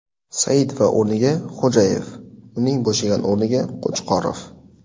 Saidova o‘rniga Xo‘jayev, uning bo‘shagan o‘rniga Qo‘chqorov.